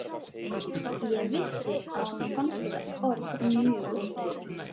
Ég vissi að honum fannst þetta orðið mjög óþægilegt.